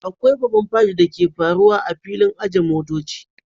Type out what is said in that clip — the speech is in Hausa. Akwai babban figth da ke faruwa a filin ajiye motoci